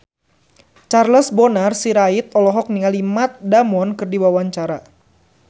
Charles Bonar Sirait olohok ningali Matt Damon keur diwawancara